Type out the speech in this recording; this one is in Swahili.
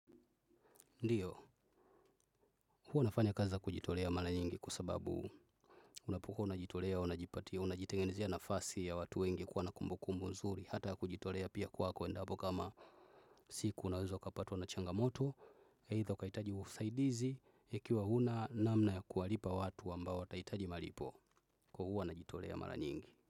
Ndiyo, huwa nafanya kazi za kujitolea mara nyingi kwa sababu, unapokuwa unajitolea, unajipatia, unajitengezea nafasi ya watu wengi kuwa na kumbukumbu mzuri, hata kujitolea pia kuwa kwendapo kama siku unawezwa ukapatwa na changamoto, either ukahitaji usaidizi, ikiiwa huna namna ya kuwalipa watu ambao watahitaji malipo, kwa hivyo huwa najitolea mara nyingi.